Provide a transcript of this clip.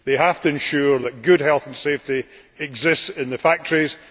They have to ensure that good health and safety exists in the factories